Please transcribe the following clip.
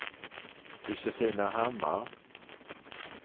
Josefina Hammar